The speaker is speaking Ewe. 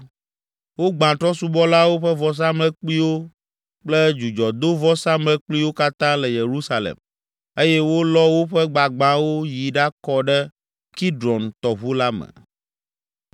Wogbã trɔ̃subɔlawo ƒe vɔsamlekpuiwo kple dzudzɔdovɔsamlekpuiwo katã le Yerusalem eye wolɔ woƒe gbagbãwo yi ɖakɔ ɖe Kidron tɔʋu la me.